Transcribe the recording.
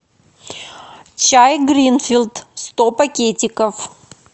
чай гринфилд сто пакетиков